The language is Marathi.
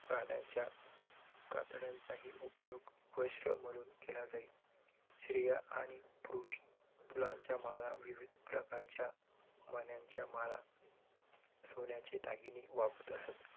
प्राण्यांच्या कातड्यांचाही उपयोग वस्त्र म्हणून केला जाई. स्त्रिया आणि पुरुष फुलांच्या माळा, विविध प्रकारच्या मण्यांच्या माळा, सोन्याचे दागिने वापरत असत.